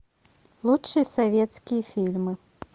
лучшие советские фильмы